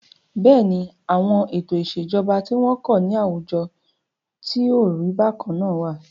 Bẹ́ẹ̀ni, àwọn ètò ìṣèjọba tí wọn kò ní àwùjọ tí o rí bákan náà wà.